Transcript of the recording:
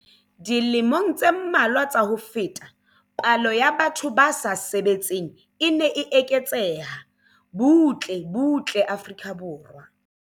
Dilemong tse mmalwa tsa ho feta, palo ya batho ba sa sebetseng e ne e eketseha butle butle Afrika Borwa.